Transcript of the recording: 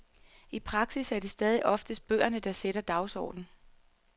I praksis er det stadig oftest bøgerne, der sætter dagsordenen.